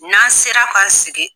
N'an sera k'an sigi.